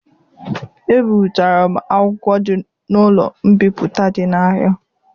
Ebiụtara m akwụkwọ na ụlọ mbipụta dị n'ahia.